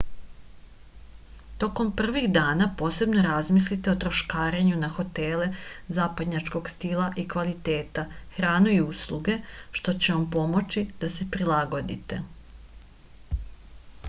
tokom prvih dana posebno razmislite o troškarenju na hotele zapadnjačkog stila i kvaliteta hranu i usluge što vam može pomoći da se prilagodite